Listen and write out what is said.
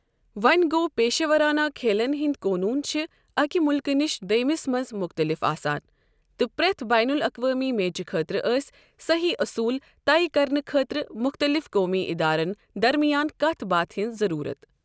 وونہِ گوٚو، پیشورانہ کھیلن ہِنٛدۍ قونوٗن چھِ اکہِ مُلکہٕ نِش دۄیمِس مَنٛز مختٔلِف آسان، تہٕ پرٮ۪تھ بین الاقوٲمی میچہٕ خٲطرٕ ٲسۍ صٔحیح اوٚصوٗل طے کرنہٕ خٲطرٕ مُختٔلِف قومی ادارن درمیان کتھ باتھہِ ہِنٛز ضروٗرَت۔